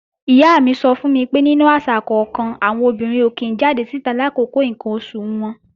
Ìyá mi sọ fún mi pé nínú àṣà kọ́kan, àwọn obìnrin ò kí ń jáde síta làkókò ǹkan oṣù wọn